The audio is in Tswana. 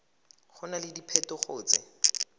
go na le diphetogo tse